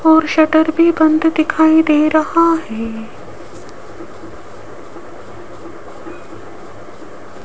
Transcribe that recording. और शटर भी बंद दिखाई दे रहा है।